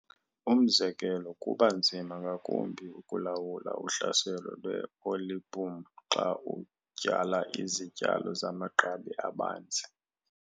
Umzekelo, kuba nzima ngakumbi ukulawula uhlaselo lwe-olieboom xa utyala izityalo zamagqabi abanzi.